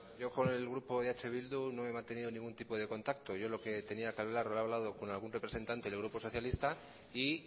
yo con el grupo eh bildu no he mantenido ningún tipo de contacto yo lo que tenía que hablar lo he hablado con algún representante del grupo socialista y